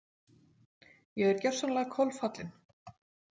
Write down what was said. Ég er gjörsamlega kolfallin.